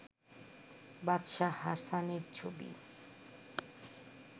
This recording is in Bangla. বাদশাহ হাসানের ছবি